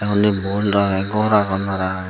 tey undi ball agey gor agon .